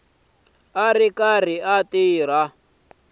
a ri karhi a tirhisa